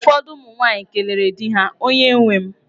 Ụfọdụ ụmụ nwaanyị kelere di ha, "onye nwem".